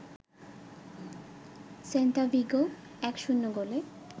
Celta Vigo ১-০ গোলে